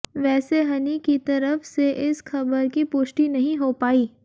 वैसे हनी की तरफ से इस खबर की पुष्टि नहीं हो पाई